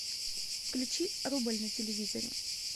включи рубль на телевизоре